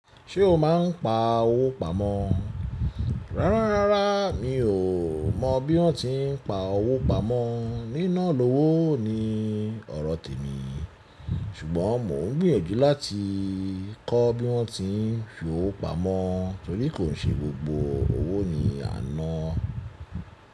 Ṣé o máa ń pa owó pamọ́? Rárá, rárá mi ò mọ bí wọ́n ti ń pa owó pamọ́, níná lọ́wọ́ ni ọrọ̀ tèmi. Ṣùgbọ́n mò ń gbìyànjú láti kọ́ bí wọ́n ti ń fi owó pamọ́ torí kò ṣe gbogbo owó ni à ná.